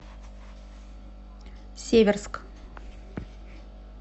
северск